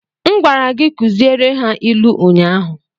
M gwara gi kuziere ha ilu unyanya!